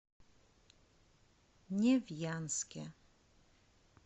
невьянске